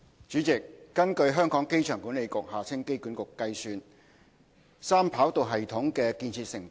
主席，根據香港機場管理局估算，三跑道系統的建設成本......